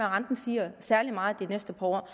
renten stiger særlig meget de næste par år